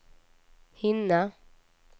hinna